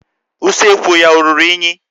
Usekwu ya ọ ruru unyi?